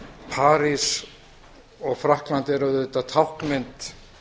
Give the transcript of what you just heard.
parís og frakkland er auðvitað táknmynd